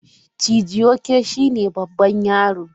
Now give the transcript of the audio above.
Chijioke shine babban yaro.